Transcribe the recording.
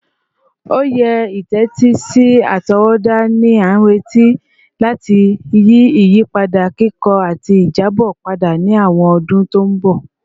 Oye itetisi atọwọda ni a nireti lati yi iyipada kikọ ati ijabọ pada ni awọn ọdun ti n bọ